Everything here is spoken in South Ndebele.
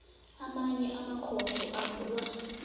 amanye amakhotho avulwa